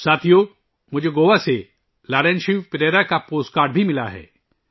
ساتھیو ، مجھے گوا سے لارنشیو پریرا کا پوسٹ کارڈ بھی ملا ہے